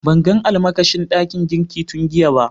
Ban gan almakashi dakin girki tun giya ba.